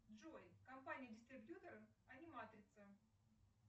джой компания дистрибьютор аниматрица